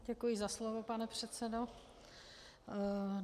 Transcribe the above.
Děkuji za slovo, pane předsedo.